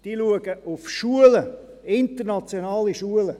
Sie achten auf Schulen, internationale Schulen.